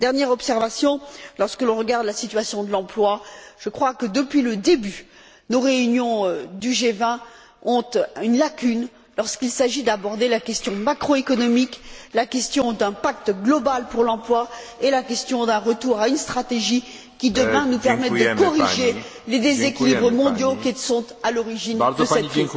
Dernière observation lorsque l'on regarde la situation de l'emploi, je crois que, depuis le début, nos réunions du G20 ont une lacune lorsqu'il s'agit d'aborder la question macroéconomique, la question d'un pacte global pour l'emploi et la question d'un retour à une stratégie qui, demain, nous permette de corriger les déséquilibres mondiaux qui sont à l'origine de cette crise.